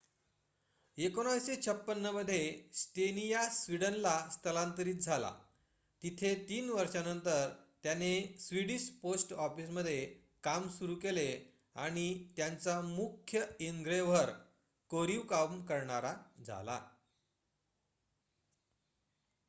१९५६ मध्ये स्टेनिया स्वीडनला स्थलांतरित झाला जिथे ३ वर्षांनंतर त्याने स्वीडिश पोस्ट ऑफिसमध्ये काम सुरू केले आणि त्यांचा मुख्य एनग्रेव्हर कोरीव काम करणारा झाला